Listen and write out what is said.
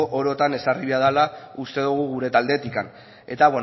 orotan ezarri behar dala uste dogu gure taldetik eta